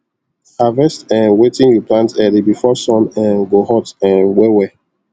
harvest um wetin you plant early before sun um go hot um well well